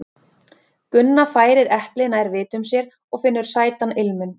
Gunna færir eplið nær vitum sér og finnur sætan ilminn.